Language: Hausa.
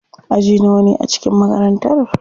Aji nawane ne a cikin makarantar?